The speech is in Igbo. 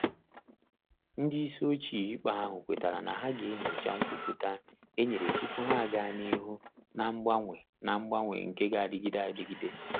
Ndị isi ochie ikpe ahụ kwetara na ha ga enyocha nkwupụta e nyere tupu ha aga n'ihu na mgbanwe na mgbanwe nke g'adịgide adịgide.